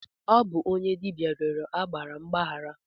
Ọ bụ onye dibịa rịọrọ agbara mgbaghara.